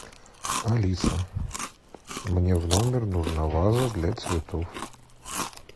алиса мне в номер нужна ваза для цветов